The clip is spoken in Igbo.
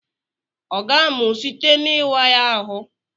Ọ ga-amụ site n'ịwa ya ahụ?